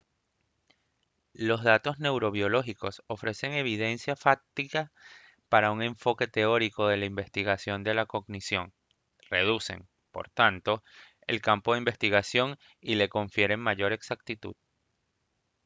los datos neurobiológicos ofrecen evidencia fáctica para un enfoque teórico de la investigación de la cognición reducen por tanto el campo de investigación y le confieren mayor exactitud